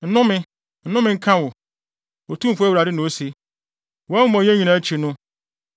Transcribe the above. “ ‘Nnome! Nnome nka wo, Otumfo Awurade na ose. Wʼamumɔyɛ nyinaa akyi no,